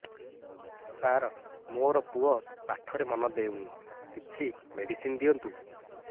ସାର ମୋର ପୁଅ ପାଠରେ ମନ ଦଉନି କିଛି ମେଡିସିନ ଦିଅନ୍ତୁ